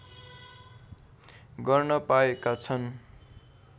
गर्न पाएका छन्